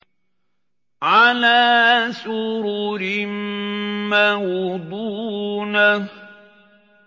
عَلَىٰ سُرُرٍ مَّوْضُونَةٍ